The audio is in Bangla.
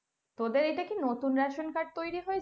তোদের এইটা কি নতুন ration card তৈরি হয়েছে,